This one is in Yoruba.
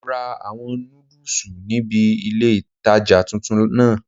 Mo ra àwọn nódùsù níbi ilé-ìtánjẹ tuntun náà